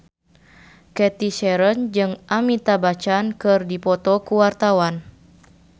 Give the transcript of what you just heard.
Cathy Sharon jeung Amitabh Bachchan keur dipoto ku wartawan